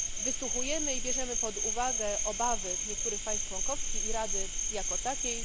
Wysłuchujemy i bierzemy pod uwagę obawy niektórych państw członkowskich i Rady jako takiej.